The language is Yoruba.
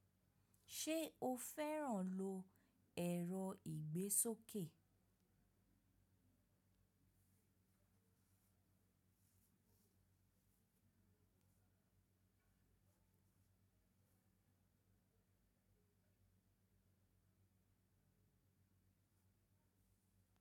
Ṣe o fẹ́ràn lo ẹ̀rọ ìgbésókè?